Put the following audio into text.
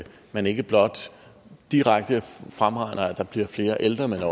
man ikke blot direkte fremregner at der bliver flere ældre men